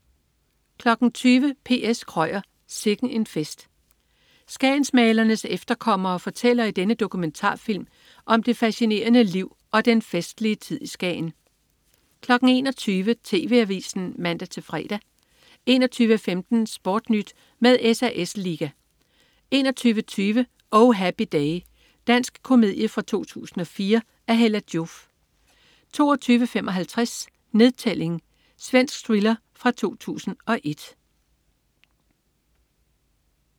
20.00 P.S. Krøyer. Sikken en fest. Skagensmalernes efterkommere fortæller i denne dokumentarfilm om det fascinerende liv og den festlige tid i Skagen 21.00 TV Avisen (man-fre) 21.15 SportNyt med SAS Liga 21.20 Oh Happy Day. Dansk komedie fra 2004 af Hella Joof 22.55 Nedtælling. Svensk thriller fra 2001